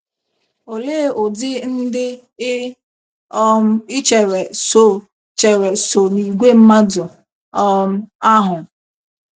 Olee ụdị ndị i um chere so chere so n’ìgwè mmadụ um ahụ?